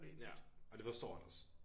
Ja og det forstår han også